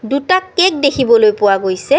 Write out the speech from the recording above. দুটা কেক দেখিবলৈ পোৱা গৈছে।